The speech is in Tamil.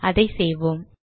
அதை செய்வோம்